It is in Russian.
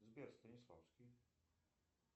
сбер станиславский